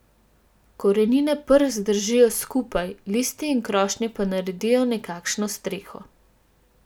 Korenine prst držijo skupaj, listi in krošnje pa naredijo nekakšno streho.